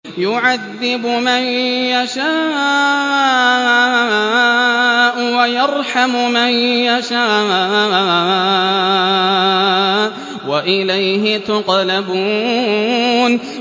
يُعَذِّبُ مَن يَشَاءُ وَيَرْحَمُ مَن يَشَاءُ ۖ وَإِلَيْهِ تُقْلَبُونَ